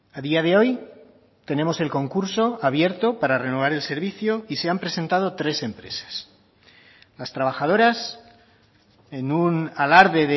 a día de hoy tenemos el concurso abierto para renovar el servicio y se han presentado tres empresas las trabajadoras en un alarde